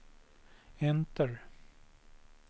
enter